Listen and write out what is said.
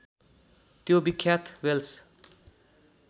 त्यो विख्यात वेल्स